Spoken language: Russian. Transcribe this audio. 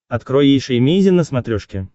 открой эйша эмейзин на смотрешке